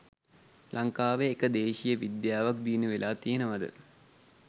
ලංකාවේ එක දේශිය විද්‍යාවක් දියුණු වෙලා තියෙනවද